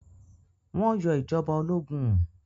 Wọ́n yọ ìjọba ológun?